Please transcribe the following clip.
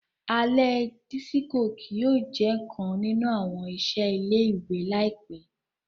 Alẹ disiko kii yóò jẹ kan ninu awọn iṣẹ ile-iwe laipẹ.